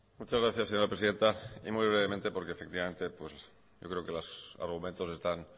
muchas gracias señora presidenta y muy brevemente porque efectivamente yo creo que los argumentos están